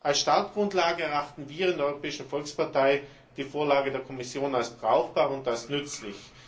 Als Startgrundlage erachten wir in der Europäischen Volkspartei die Vorlage der Kommission als brauchbar und nützlich.